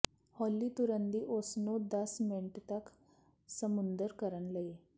ਹੌਲੀ ਤੁਰਨ ਦੀ ਉਸ ਨੂੰ ਦਸ ਮਿੰਟ ਤੱਕ ਸਮੁੰਦਰ ਕਰਨ ਲਈ